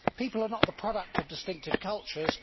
People are not the product of distinctive cultures